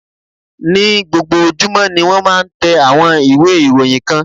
Ní gbogbo ojúmọ́ ni wón máa ń tẹ àwọn ìwé ìròyìn kan.